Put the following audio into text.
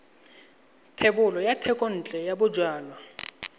thebolo ya thekontle ya bojalwa